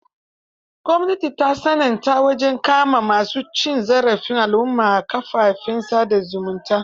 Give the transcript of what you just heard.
Gwamnati ta tsananta wajen kama ma su cin zarafi al'umma a kafafen sa da zumunta.